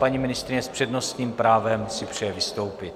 Paní ministryně s přednostním právem si přeje vystoupit.